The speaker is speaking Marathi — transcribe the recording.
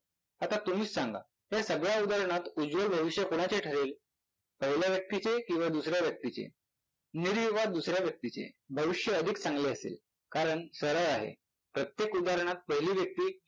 आता तुम्हीच सांगा या सगळ्या उदाहरणात उज्ज्वल भविष्य कुणाचे ठरेल? पहिल्या व्यक्तीचे किंवा दुसर्या व्यक्तीचे? निरीयुगात दुसऱ्या व्यक्तीचे भविष्य अधिक चांगले असेल. कारण सरळ आहे, प्रत्येक उदाहरणात पहिली व्यक्ती